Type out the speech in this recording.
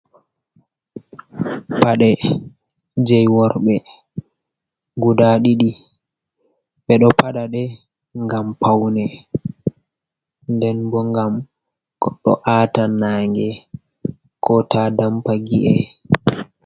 "Pade" jei worɓe guda diɗi ɓe ɗo pada ɗe ngam paune nden bo ngam goɗɗo a'ta nange ko ta dampa gi’e.